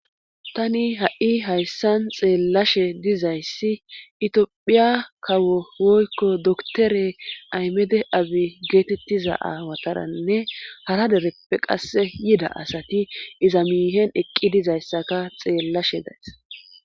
Tani ha7i hayssan xeellashe dizayssi itiphiya kawo woykko doktore aymede abi geetettiza aawataranne hara dereppe qasse yida asati iza miihen eqqi dizayssaka xeellashe days.